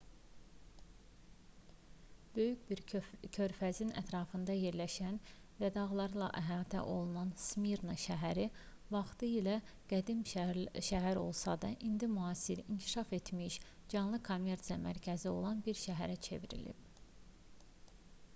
böyük bir körfəzin ətrafında yerləşən və dağlarla əhatə olunan smirna şəhəri vaxtilə qədim şəhər olsa da indi müasir inkişaf etmiş canlı kommersiya mərkəzi olan bir şəhərə çevrilib